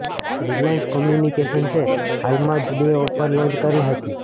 Reliance કોમ્યુનિકેશન્સે હાલમાં જ બે ઓફર લોન્ચ કરી હતી